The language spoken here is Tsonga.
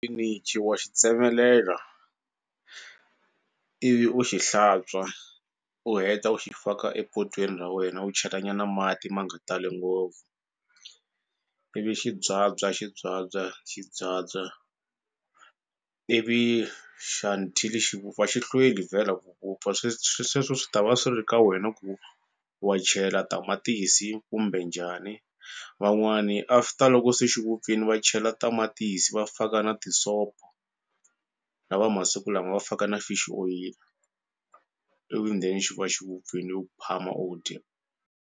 wa xi tsemelela ivi u xi hlantswa u heta u xi faka epotwini ra wena u chela nyana mati ma nga tali ngopfu ivi xi byabya xi byabya xi byabya ivi xa until xi vupfa a xi hlweli vhela ku vupfa sweswo swi ta va swi ri ka wena ku wa chela tamatisi kumbe njhani van'wani after loko se xi vupfini va chela tamatisi va faka na tisopo lava masiku lama va faka na fish oyili ivi then xi va xi vupfini u phama u dya.